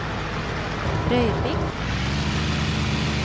Røyrvik